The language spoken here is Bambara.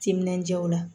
Timinandiya o la